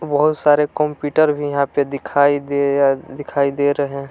बहुत सारे कंप्यूटर भी यहां पे दिखाई दे या दिखाई दे रहे है।